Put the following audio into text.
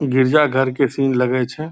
गिरजा घर के सीन लगै छे।